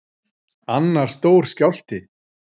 Annar stór skjálfti